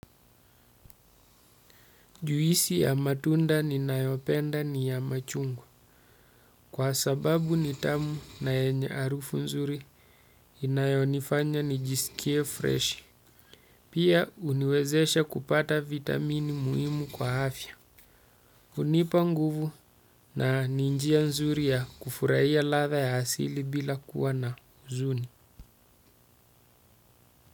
Juisi ya matunda ninayopenda ni ya machungwa kwa sababu nitamu na yenye arufu nzuri inayonifanya nijisikie fresh pia uniwezesha kupata vitamini muhimu kwa afya unipa nguvu na nin jia nzuri ya kufurahia latha ya asili bila kuwa na zuni.